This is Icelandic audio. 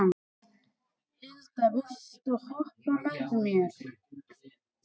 Hilda, viltu hoppa með mér?